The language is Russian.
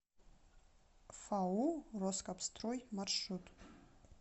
фау роскапстрой маршрут